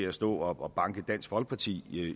at stå og banke dansk folkeparti